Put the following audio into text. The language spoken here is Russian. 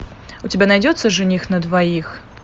у тебя найдется жених на двоих